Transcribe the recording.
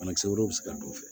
Banakisɛ wɛrɛw bɛ se ka don